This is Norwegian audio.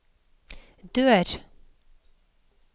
dør